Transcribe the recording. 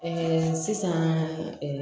sisan